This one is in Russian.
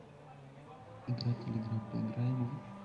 игра телеграмм поиграем в